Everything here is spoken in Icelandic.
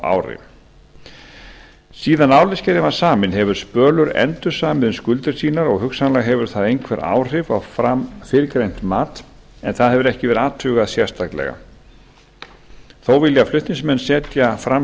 árlega síðan álitsgerðin var samin hefur spölur endursamið um skuldir sínar og hugsanlega hefur það einhver áhrif á fyrrgreint mat en það hefur ekki verið athugað sérstaklega þó vilja flutningsmenn setja fram